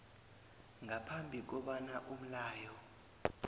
ngaphambi kobana umlayo